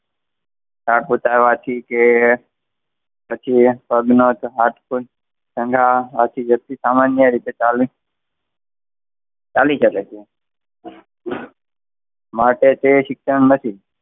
થાક ઉતારવા થી કે, વ્યક્તિ સામાન્ય રીતે ચાલી ચાલી શકે છે. માટે તે શિક્ષણ નથી.